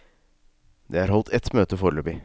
Det er holdt ett møte foreløpig.